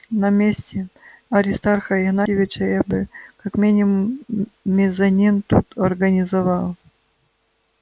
на месте аристарха игнатьевича я бы как минимум мезонин тут организовал